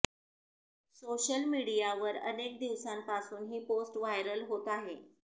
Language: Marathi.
सोशल मीडियावर अनेक दिवसांपासून ही पोस्ट व्हायरल होत आहे